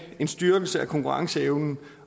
en styrkelse af konkurrenceevnen